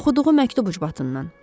Oxuduğu məktub ucbatından.